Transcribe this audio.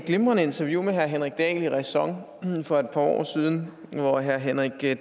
glimrende interview med herre henrik dahl i ræson for et par år siden hvor herre henrik